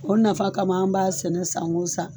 O nafa kama an b'a sɛnɛ san wo san.